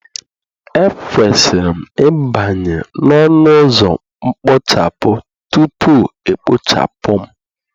Ekwesịrị m ịbanye n'ọnụ ụzọ mkpochapụ, tupu e kpochapụ m.